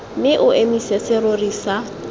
mme o emise serori sa